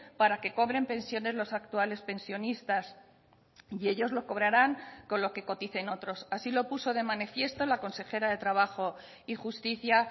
para que cobren pensiones los actuales pensionistas y ellos lo cobrarán con lo que coticen otros así lo puso de manifiesto la consejera de trabajo y justicia